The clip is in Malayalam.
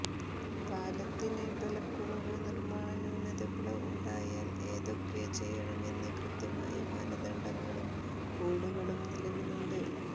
പാലത്തിന് ബലക്കുറവോ നിർമാണ ന്യൂനതകളോ ഉണ്ടായാൽ എന്തൊക്കെ ചെയ്യണമെന്ന് കൃത്യമായ മാനദണ്ഡങ്ങളും കോഡുകളും നിലവിലുണ്ട്